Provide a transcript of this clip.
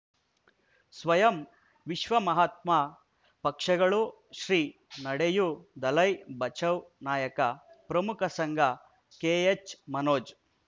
ಸ್ವಯಂ ವಿಶ್ವ ಮಹಾತ್ಮ ಪಕ್ಷಗಳು ಶ್ರೀ ನಡೆಯೂ ದಲೈ ಬಚೌ ನಾಯಕ ಪ್ರಮುಖ ಸಂಘ ಕೆ ಎಚ್ ಮನೋಜ್